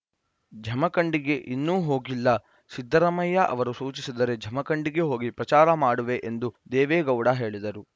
ಜಮಖಂಡಿಗೆ ಇನ್ನೂ ಹೋಗಿಲ್ಲ ಸಿದ್ದರಾಮಯ್ಯ ಅವರು ಸೂಚಿಸಿದರೆ ಜಮಖಂಡಿಗೆ ಹೋಗಿ ಪ್ರಚಾರ ಮಾಡುವೆ ಎಂದು ದೇವೇಗೌಡ ಹೇಳಿದರು